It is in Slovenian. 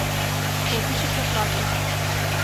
Povišica plače.